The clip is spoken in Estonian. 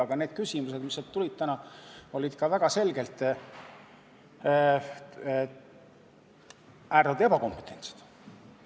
Aga need küsimused, mis sealt täna tulid, olid väga selgelt ebakompetentsed.